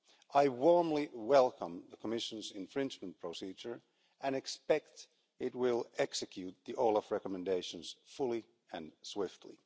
I warmly welcome the Commission's infringement procedure and expect it will execute the European Anti Fraud Office recommendations fully and swiftly.